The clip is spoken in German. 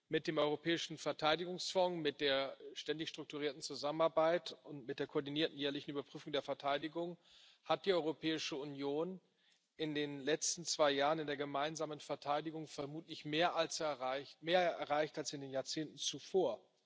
Mit dem Europäischen Verteidigungsfonds, mit der Ständigen Strukturierten Zusammenarbeit und mit der Koordinierten Jährlichen Überprüfung der Verteidigung hat die Europäische Union in den letzten zwei Jahren in der gemeinsamen Verteidigung vermutlich mehr erreicht als in den Jahrzehnten zuvor.